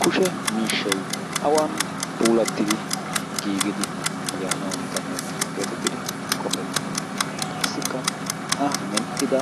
kushe miishshei awan puulettidi giigidi yaanawu danddayettees geetettidi qoppettii qassikka a medhdhida